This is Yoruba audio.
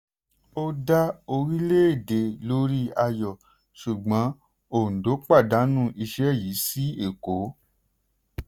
ó dá orílẹ̀-èdè lórí ayọ̀ ṣùgbọ́n òǹdó pàdánù iṣẹ́ yìí sí èkó.